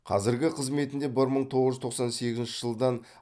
қазіргі қызметінде бір мың тоғыз жүз тоқсан сегізінші жылдан